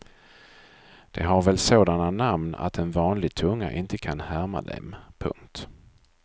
De har väl sådana namn att en vanlig tunga inte kan härma dem. punkt